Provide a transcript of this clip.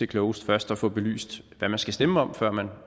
klogest først at få belyst hvad man skal stemme om før man